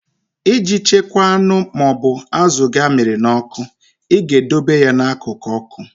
Iji chekwaa anụ ma ọ bụ azụ gị amịrị n'ọkụ, I ga-edobe ya n'akụkụ ọkụ.